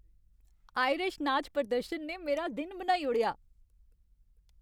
Irish नाच प्रदर्शन ने मेरा दिन बनाई ओड़ेआ।